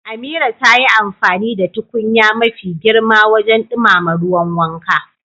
Amira ta yi amfani da tukunya mafi girma wajen dumama ruwan wanka.